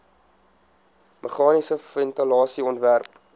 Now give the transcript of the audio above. meganiese ventilasie ontwerp